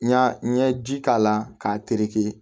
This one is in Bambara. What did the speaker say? N ɲa n ye ji k'a la k'a tereke